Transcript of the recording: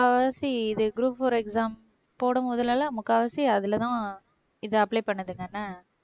முக்கால்வாசி இது group four exam போடும்போதெல்லாம் முக்காவாசி அதுலதான் இதை apply பண்ணதுங்கன்னா